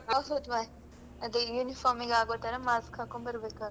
ಹೌದು ಮರ್ರೆ ಅದೇ uniform ಗೆ ಆಗೊತರ mask ಹಾಕೊಂಡ್ ಬರ್ಬೇಕಾಗುತ್ತೆ.